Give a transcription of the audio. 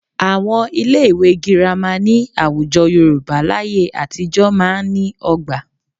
Àwọn ilé ìwé Girama ní àwùjọ Yorùbá láyé àtijọ́ máa ń ní ọgbà